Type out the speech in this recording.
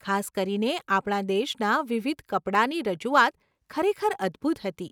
ખાસ કરીને, આપણા દેશના વિવિધ કપડાંની રજૂઆત ખરેખર અદભૂત હતી.